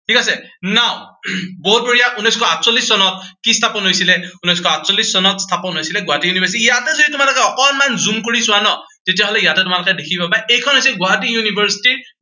ঠিক আছে, now বহুত বঢ়িয়া, উনৈচশ আঠচল্লিশ চনত কি স্থাপন হৈছিলে, উনৈচশ আঠচল্লিশ চনত স্থাপন হৈছিলে গুৱাহাটী university ইয়াতে যদি তোমালোকে অকনমান zoom কৰি চোৱা ন, তেতিয়া হলে ইয়াতে তোমালোকে দেখি পাবা, এইখন হৈছে গুৱাহাটী university ৰ